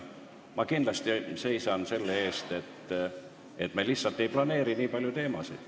Ma kindlasti seisan selle eest, et me lihtsalt ei planeeri nii palju teemasid.